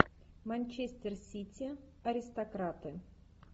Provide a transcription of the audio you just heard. манчестер сити аристократы